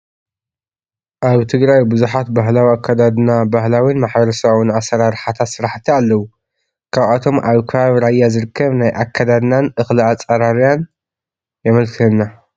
ኣብ ትግራይ ብዙሓት ባህላዊ ኣካዳድና፣ ባህላዊን ማሕበረሰባውን ኣሰራርሓታት ስራሕቲ ኣለው፡፡ ካብኣቶም ኣብ ከባቢ ራያ ዝርከብ ናይ ኣካዳድናን እኽሊ ኣፅርያን የመልክተና፡፡